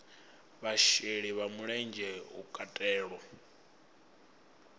vhasheli vha mulenzhe hu katelwa